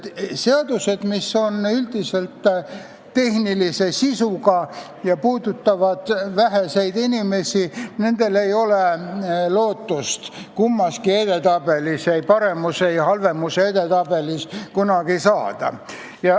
Seadustel, mis on tehnilise sisuga ja puudutavad väheseid inimesi, ei ole lootust kunagi kummassegi edetabelisse, ei kõige paremate ega kõige halvemate seaduste edetabelisse saada.